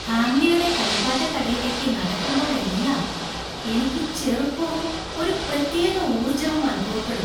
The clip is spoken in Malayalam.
ഹാംലിയുടെ കളിപ്പാട്ടക്കടയിലേക്ക് നടക്കുമ്പോഴെല്ലാം എനിക്ക് ചെറുപ്പവും, ഒരു പ്രത്യേക ഊർജ്ജവും അനുഭവപ്പെടും !